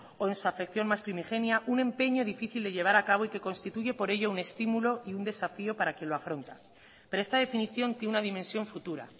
o en su afección mas primigenia un empeño difícil de llevar a cabo y que constituye por ello un estímulo y un desafió para el que lo afronta pero esta definición tiene una dimensión futura